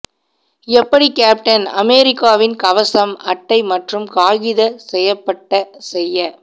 எப்படி கேப்டன் அமெரிக்காவின் கவசம் அட்டை மற்றும் காகித செய்யப்பட்ட செய்ய